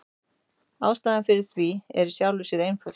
Ástæðan fyrir því er í sjálfu sér einföld.